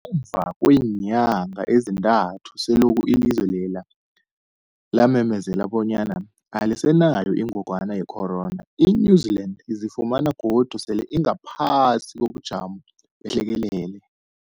Ngemva kweenyanga ezintathu selokhu ilizwe lela lamemezela bonyana alisenayo ingogwana ye-corona, i-New-Zealand izifumana godu sele ingaphasi kobujamo behlekelele.